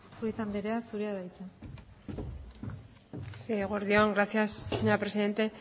ruiz anderea zurea da hitza eguerdi on gracias señora presidenta